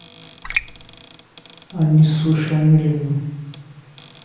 анису шамилевну